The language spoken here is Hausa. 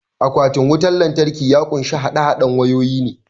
Akwatin wutan lantraki ya kunshi haɗe haɗen wayoyi ne